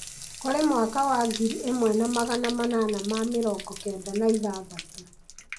kũrĩ mwaka wa ngiri ĩmwe na magana manana ma mĩrongo kenda na ithathatũ,